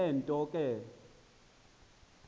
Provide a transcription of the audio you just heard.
le nto ke